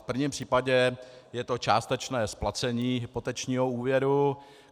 V prvním případě je to částečné splacení hypotečního úvěru.